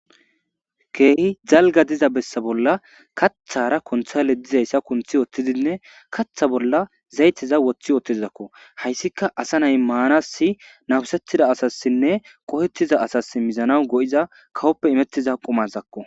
Keehi jalga diza bessa bolla kathara kontha le dizayssa kunthi wottidinne katha bolla zayteza woththi ootezidakko hayssika asa nay maanassi nabusettida asassinne qohettiza asas mizana go7iza kawoppe imettiza qumasakko.